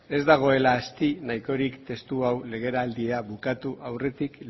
ez dagoela asti nahikorik testu hau legealdia bukatu aurretik